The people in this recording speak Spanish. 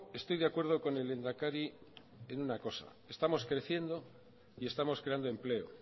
estoy de acuerdo con el lehendakari en una cosa estamos creciendo y estamos creando empleo